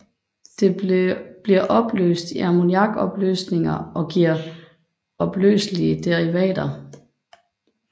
Det bliver opløst i ammoniakopløsninger og giver opløselige derivater